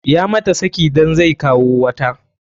Ya mata saki dan zai kawo wata.